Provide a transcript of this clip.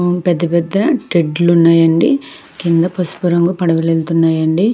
పెద్ద పెద్ద టెట్లు ఉన్నాయండి కింద పసుపు రంగు పడవలు వెళ్తున్నాయండి.